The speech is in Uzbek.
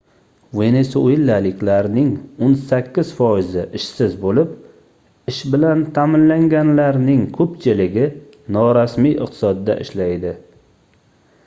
venesuelaliklarning oʻn sakkiz foizi ishsiz boʻlib ish bilan taʼminlanganlarning koʻpchiligi norasmiy iqtisodda ishlaydi